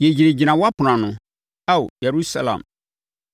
Yɛgyinagyina wʼapono ano, Ao Yerusalem.